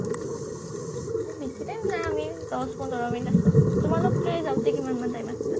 বেছি time নাই আমি দহ পোন্ধৰ minute আছিলোঁ। তোমালোক যাওঁতে কিমান মান time আছিলা?